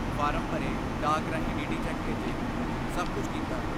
Form ਭਰੇ, ਡਾਕ ਰਾਹੀਂ ਡੀ ਡੀ ਚੈੱਕ ਭੇਜੇ, ਸਭ ਕੁਝ ਕੀਤਾ।